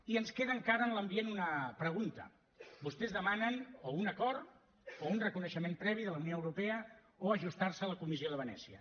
i ens queda encara en l’ambient una pregunta vostès demanen o un acord o un reconeixement previ de la unió europea o ajustar se a la comissió de venècia